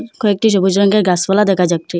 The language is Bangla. কয়েকটি সবুজ রঙ্গের গাসপালা দেখা যাচ্ছে।